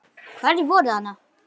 Hverjir voru þarna?